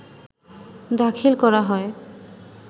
দাখিল করা হয়